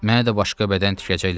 Mənə də başqa bədən tikəcəklər?